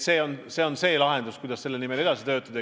See on lahendus, kuidas selle eesmärgi nimel edasi töötada.